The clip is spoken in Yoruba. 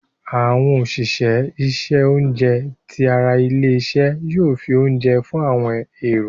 Àwọn òṣìṣẹ́ isẹ oúnjẹ tí àrà ilé-isé yóò fí oúnjẹ fún àwọn èrò.